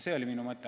See oli minu mõte.